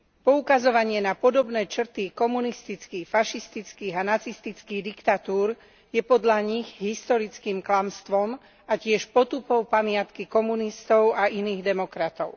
Poukazovanie na podobné črty komunistických, fašistických a nacistických diktatúr je podľa nich historickým klamstvom a tiež potupou pamiatky komunistov a iných demokratov.